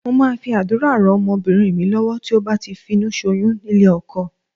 Mo máa fi àdúrà rán ọmọbìnrin mi lọ́wọ́ tí ó bá ti finúṣoyún nílé ọkọ.